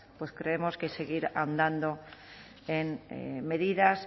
pues creemos que seguir ahondando en medidas